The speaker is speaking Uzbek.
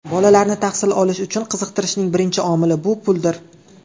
Bolalarni tahsil olish uchun qiziqtirishning birinchi omili bu puldir.